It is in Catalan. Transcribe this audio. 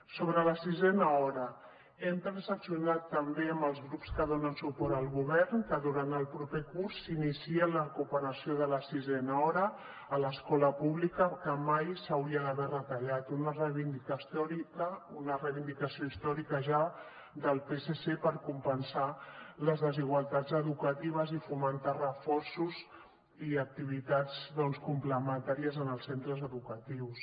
sobre la sisena hora hem transaccionat també amb els grups que donen suport al govern que durant el proper curs s’iniciï la recuperació de la sisena hora a l’escola pública que mai s’hauria d’haver retallat una reivindicació històrica ja del psc per compensar les desigualtats educatives i fomentar reforços i activitats doncs complementàries en els centres educatius